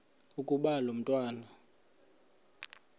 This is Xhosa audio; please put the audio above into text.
ukuba lo mntwana